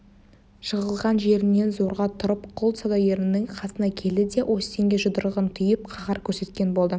жығылған жерінен зорға тұрып құл саудагерінің қасына келді де остинге жұдырығын түйіп қаһар көрсеткен болды